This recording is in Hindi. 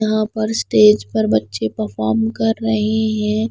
यहाँ पर स्टेज पर बच्चे परफॉर्म कर रहे हैं।